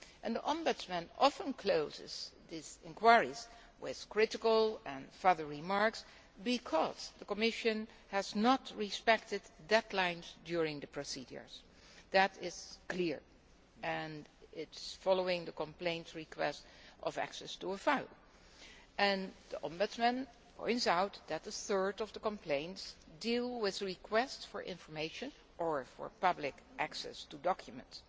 The Ombudsman often closes his inquiries with critical and further remarks because the Commission has not respected deadlines during the procedures. That is clear and follows the complaints request for access to a file. The Ombudsman points out that a third of the complaints deal with requests for information or for public access to documents.